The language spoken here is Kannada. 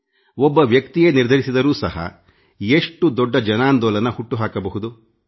ಒಬ್ಬ ವ್ಯಕ್ತಿಯೇ ನಿರ್ಧರಿಸಿದರೂ ಸಹ ಎಷ್ಟು ದೊಡ್ಡ ಜನಾಂದೋಲನವನ್ನೇ ಹುಟ್ಟು ಹಾಕಬಹುದು